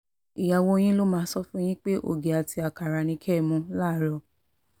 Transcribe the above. ìyàwó yín ló máa sọ fún yín pé ògì àti àkàrà ni kẹ́ ẹ mú láàárọ̀